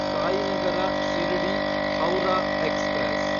Sainagar ಶಿರ್ಡಿ–ಹೌರಾ express